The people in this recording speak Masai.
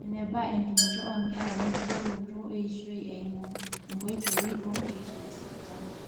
eneba entumoto oonkerra wenkibooroto eishoi eimu inkoitoi oorkeek lesipitali